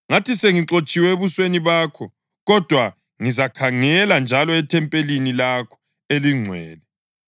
Ngathi, ‘Sengixotshiwe ebusweni bakho; kodwa ngizakhangela njalo ethempelini lakho elingcwele.’